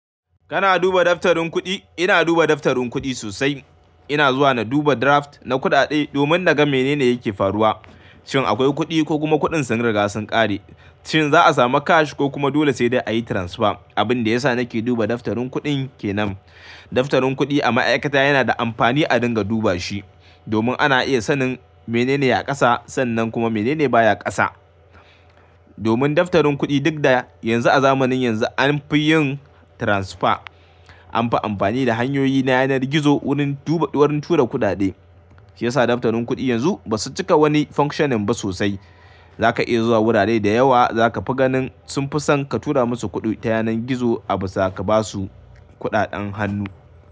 Kana duba daftarin kuɗi? Ina duba daftarin kuɗi sosai. Ina zuwa na duba draft na kuɗaɗe domin naga menene yake faruwa. Shin akwai kuɗi ko kuma kuɗin sun riga sun ƙare, shin za'a samu cash ko kuma dole sai dai ayi transfer. Abin da yasa nake duba daftarin kuɗi ke nan. Daftarin kuɗi a ma'aikata yana da amfani a dinga duba shi domin ana iya sanin menene ya ƙasa sannan kuma menene baya ƙasa. Domin daftarin kuɗi duk da yanzu a zamanin yanzu an fi yin transfer, an fi amfani da hanyoyi na yanar gizo wurin tura kuɗaɗe, shi yasa daftarin kuɗi yanzu ba su cika wani functioning ba sosai. Zaka iya zuwa wurare da yawa za ka fi ganin sun fi son ka tura musu kuɗi ta yanar gizo a bisa ka ba su kuɗaɗen hannu.